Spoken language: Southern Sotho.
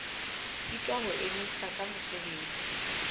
sitwa ho emisa ka mosebetsi